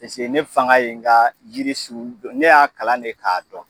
Paseke ne fanga ye n ka jiri sun dɔn , ne y'a kalan de ka dɔn.